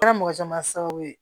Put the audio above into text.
Kɛra mɔgɔ caman sababu ye